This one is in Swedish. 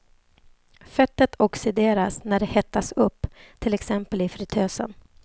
Fettet oxideras när det hettas upp, till exempel i fritösen.